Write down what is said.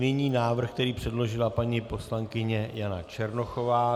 Nyní návrh, který předložila paní poslankyně Jana Černochová.